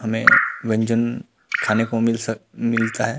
हमें व्यंजन खाने को मिल सक मिलता है।